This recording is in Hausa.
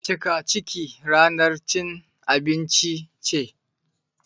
Cika ciki ranar cin abinci ce